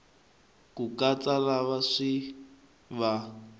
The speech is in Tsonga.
ku katsa lava swi va